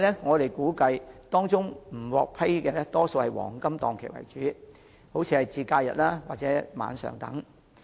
我們估計，未能獲批的申請多以黃金檔期為主，例如假日及晚上。